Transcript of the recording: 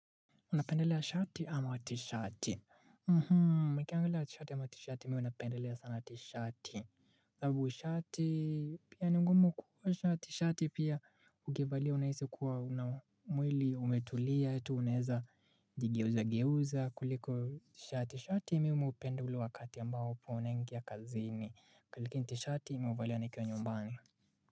Unapendelea shati ama tishati? Nikiangalia shati ama tishati mimi huwa unapendelea sana tishati. Sababu shati pia ni ngumu kuvaa tshati, shati pia ukivalia unahisi kuwa mwili umetulia tu unaweza jigeuza geuza kuliko tishati. Shati mimi hupenda wakati ambapo unaingia kazini, kuliko tishati mimi huvalia nikiwa nyumbani.